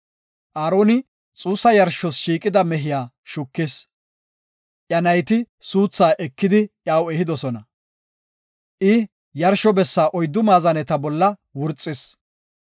Aaroni xuussa yarshos shiiqida mehiya shukis; iya nayti suuthaa ekidi iyaw ehidosona. I yarsho bessa oyddu maazaneta bolla wurxis.